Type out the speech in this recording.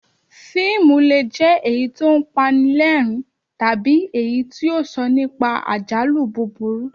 Fíìmù le è jẹ́ èyí tí ó ń pa ni lẹ́rìn-ín tàbí èyí tí ó ń sọ nípa àjálù búburú